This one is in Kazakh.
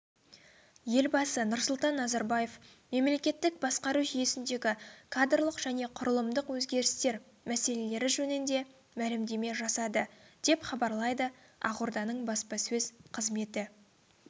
елбасы нұрсұлтан назарбаев мемлекеттік басқару жүйесіндегі кадрлық және құрылымдық өзгерістер мәселелері жөнінде мәлімдеме жасады деп хабарлайды ақорданың баспасөз қызметі